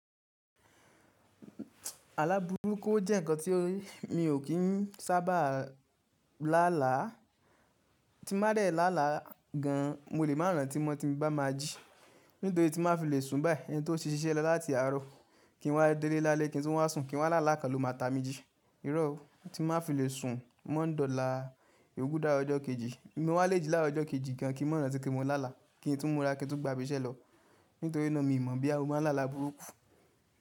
Aláburúkú o jẹ́ ǹkan tí mi ò kí ń sábà lálàá, tí n bá dẹ̀ lálàá gan, mo lè maa rantí mo ti n bá ma jí. Nítorí tí má fi lè sùn báyìí, ẹni tó sí ṣíṣẹ́ lọ láti àárọ̀, kí n wá délé lálé, kí n tún wá sùn, kí n wá lála kan ló máa ta mi jí. Irọ́ ó, tí n bá fi lè sùn mọ́ndọ́là yòoku dàáro ọjọ́ kejì, mo wá le jí láàrọ̀ ọjọ́ kejì gan, kí n mọ̀ rantí pe mo lála, kí n tún mọ ra, kí n tún gba ibi iṣẹ́ lọ. Nítorí náà mi mọ boya mo máa ń lála burúkú.